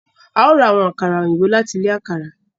A o rá awọn àkàrà òyìnbó lati ilé àkàrà.